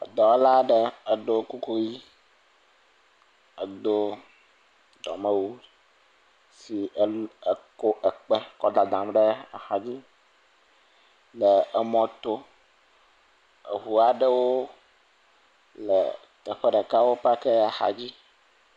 Edɔla aɖe eɖo kuku ʋi edo dɔmewu si el eko ekpɔ kɔ dadam ɖe axa dzi le emɔ to. Eŋu aɖewo le teƒe ɖeka wo paki axadzi.